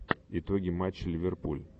итоги матча ливерпуль